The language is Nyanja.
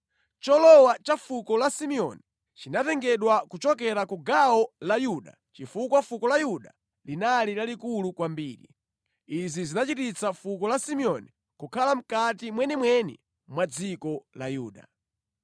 Cholowa cha fuko la Simeoni chinatengedwa kuchokera ku gawo la Yuda chifukwa fuko la Yuda linali lalikulu kwambiri. Izi zinachititsa fuko la Simeoni kukhala mʼkati mwenimweni mwa dziko la Yuda.